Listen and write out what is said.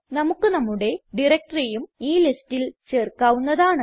നമുക്ക് നമ്മുടെ directoryഉം ഈ ലിസ്റ്റിൽ ചേർക്കാവുന്നതാണ്